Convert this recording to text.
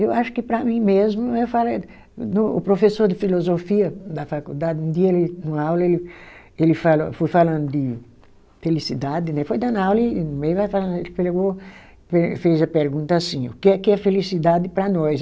Eu acho que para mim mesmo, o professor de filosofia da faculdade, um dia ele, numa aula, ele ele falou, foi falando de felicidade né, foi dando a aula e no meio pegou fez fez a pergunta assim, o que que é felicidade para nós?